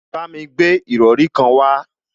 Bámi gbé ìrọrí kan wá